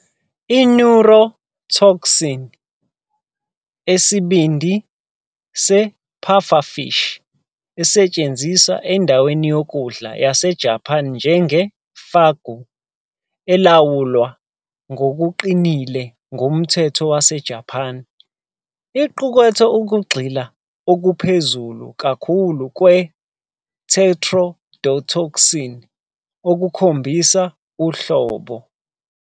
I-neurotoxin esesibindi se- pufferfish, esetshenziswa endaweni yokudla yaseJapan njenge- fugu, elawulwa ngokuqinile ngumthetho waseJapan, iqukethe ukugxila okuphezulu kakhulu kwe- tetrodotoxin, okukhombisa uhlobo.